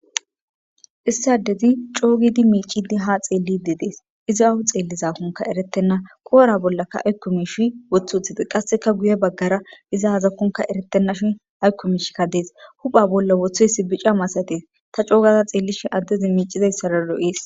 Issi adezi coo gidi miiccidi haa xeelidi dees. Izi awa xeellizakonkka erettena koora bollaka aykko miishi wothi uttides. Qasseka guya baggara iza aykko miishikka dees. Hupha bolla wothoyssi bica masatees ta coo gada xeellishin adezi miicizaysara lo7eeslo7ees.